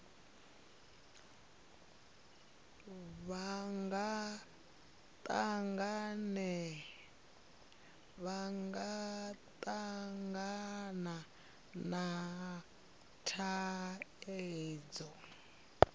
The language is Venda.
vha nga tangana na thaidzo